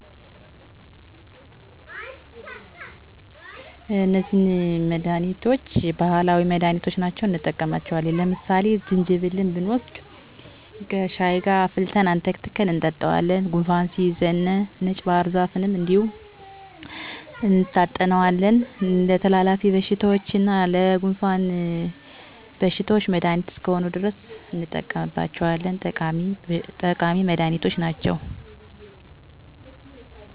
በኛ ማህበረሰብ ዘንድ ለጤና አላማ ብዙ ባህላዊ መንገዶች እና እፅዋቷች እንደ ቅጠላቅጠል፣ ስራስር የተፈጥሮ እፅዋቶች አሉ። ከብዙወች በትንሹ፦ ቅናዳም፣ ፌጦ፣ ጅንጀብል፣ ዳማከስይ እናየባህርዛፍ ቅጠል። ዳማከስይ የተለሐደናየታወቀ ነው። ሰወች ጎንፋን ሲይዛቸው ቅጠሉን በሽሀይ መልክ አፍልተው ይጠጡታል። ጅንጀብል ደሞ የሆድ እመም በሚያጋጥ ጊዜ ጅንጀብሉን ቀጥቅጦ በውሀ በማፍላት መጠጣት። ቅናዳም ከተለያዩ ነገሮች ጋር ቅጠሉን በመቀላቀል ከቡና ጋረ ከሻይ ጋር የተለያዩ በሽታወችን ይከላከላል። ፌጦ ሚባው ደሞ ፌጦውን በመፍጨት ከተለያዩ ጋር ለምሳሌ በእንጀራ ፍትፍት ወይም በሌላ መልክ በማዘጋጀት የጨጓራ ቀሽተኞች ይሰጣል። በአጠቃላይ ከዘመናዊ እክምና በመቀጠል እንደዚህ ያሉ መዳኒቶች ለማህበረሰባችን የማይተካ ሚና አላቸው።